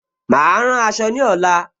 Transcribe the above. Mà á rán aṣọ ní ọ̀la